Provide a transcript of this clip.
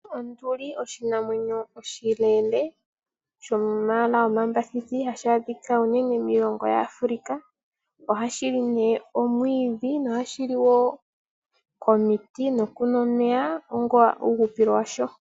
Onduli oshinamwenyo oshileele shomayala omambathithi hashi adhika uunene miilongo yaAfrica, ohashi li ne omwiidhi na ohashi li wo omiti nokunwa omeya onga uuhupilo washo.